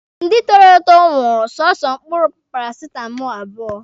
Ndị toro eto ṅụrụ soso mkpụrụ parasitamọlụ abụọ